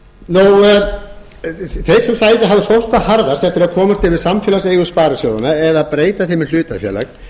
þeir sem hafa sótt hvað harðast eftir að komast yfir samfélagseigur sparisjóðanna eða breyta þeim í hlutafélag